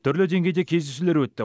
түрлі деңгейде кездесулер өтті